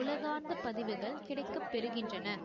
உலகார்ந்த பதிவுகள் கிடைக்க பெறுகின்றன